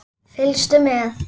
Fylgstu með!